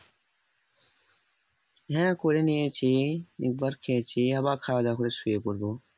হ্যাঁ করে নিয়েছি একবার খেয়েছি আবার খাওয়া দাওয়া করে শুয়ে পড়বো